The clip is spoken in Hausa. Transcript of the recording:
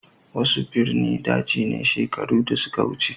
Wasu ɓirni ɗaji ne sheƙaru da suka wuce.